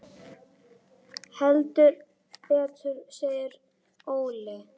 Heldur betur segir Óli.